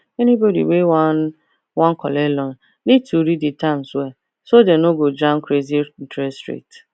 anybody wey wan wan collect loan need to read the terms well so dem no go jam crazy interest rate